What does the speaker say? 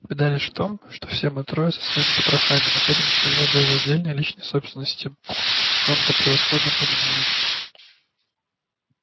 беда лишь в том что все мы трое со своими потрохами находимся в его безраздельной личной собственности и он это превосходно понимает